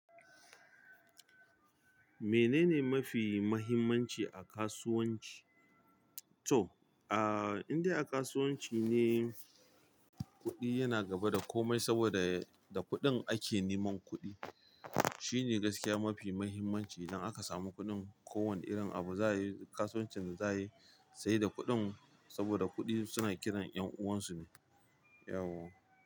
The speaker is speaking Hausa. Menene mafi muhimmanci a kasuwanci? To a indai a kasuwanci ne kudi yana gaba da komai saboda da kudin ake neman kudi. Shi ne gaskiya mafi muhimmanci. Idan aka samu kuɗin, kowani irin abu za a yi, kasuwancin da za a yi, sai da kuɗin saboda kuɗi suna kiran 'yan uwansu ne. Yawwa.